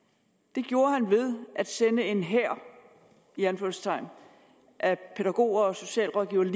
det gjorde han ved at sende en hær i anførselstegn af pædagoger og socialrådgivere